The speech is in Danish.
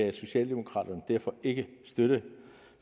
at socialdemokraterne derfor ikke kan støtte